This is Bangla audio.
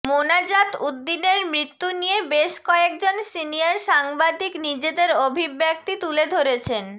মোনাজাতউদ্দিনের মৃত্যু নিয়ে বেশ কয়েকজন সিনিয়র সাংবাদিক নিজেদের অভিব্যক্তি তুলে ধরেছেন